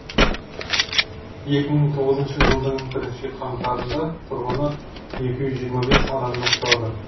екі мың тоғызыншы жылдың бірінші қаңтарында тұрғыны екі жүз жиырма бес адамды құрады